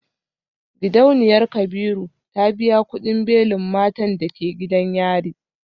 Gidauniyar kabiru ta biya kudin belin matan da ke gidan yari.